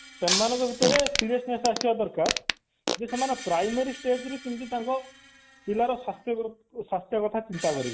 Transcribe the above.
ସେମାନଙ୍କ ଭିତରେ seriousness ଆସିବା ଦରକାର ଯେ ସେମାନେ primary stage ରୁ କେମିତି ତାଙ୍କ ପିଲାର ଶକ୍ତି ବୃଦ୍ଧି ଶକ୍ତ କଥା ଚିନ୍ତା କରିବ